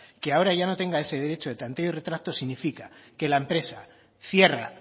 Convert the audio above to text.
que ahora ya no tenga ese derecho de tanteo y retracto significa que la empresa cierra